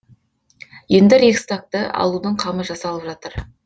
енді рейхстагты алудың қамы жасалып жатыр